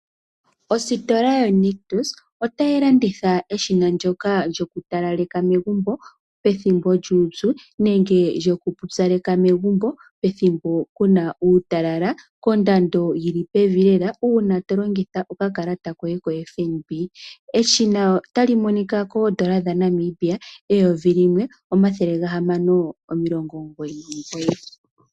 Ositola yo Nictus otayi landitha eshina ndoka lyokutalaleka megumbo pethimbo lyuupyu, nenge lyokupyupaleka megumbo pethimbo ku na uutalala, kondando yi li pevi lela. Uuna to longitha okakalata koye ko FNB. Eshina otali monika ko N$1699.